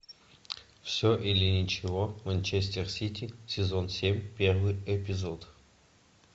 все или ничего манчестер сити сезон семь первый эпизод